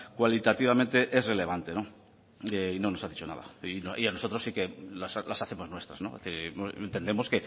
cualitativamente es relevante y no nos ha dicho nada y a nosotros sí que las hacemos nuestras entendemos